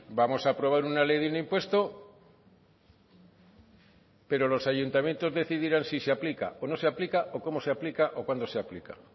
vamos a aprobar una ley de un impuesto pero los ayuntamientos decidirán si se aplica o no se aplica o cómo se aplica o cuándo se aplica